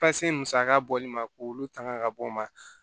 Pase musaka bɔli ma k'olu tangan ka bɔ o ma